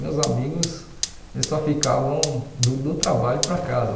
Meus amigos só ficavam do do trabalho para casa.